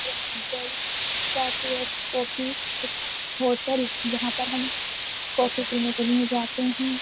Bell रात coffee hotel जहाँ पर हम कॉफी पीने के लिए जाते हैं।